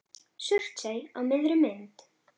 Surtsey á miðri mynd.